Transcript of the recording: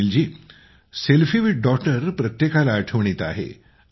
Sunil ji selfie with daughter प्रत्येकाला आठवणीत आहे